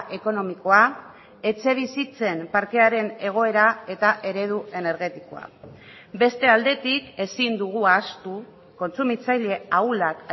ekonomikoa etxebizitzen parkearen egoera eta eredu energetikoa beste aldetik ezin dugu ahaztu kontsumitzaile ahulak